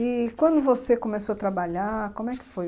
E quando você começou a trabalhar, como é que foi?